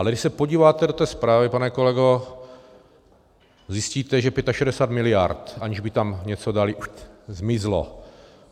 Ale když se podíváte do té zprávy, pane kolego, zjistíte, že 65 miliard, aniž by tam něco dali, zmizlo.